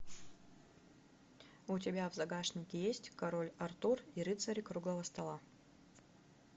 у тебя в загашнике есть король артур и рыцари круглого стола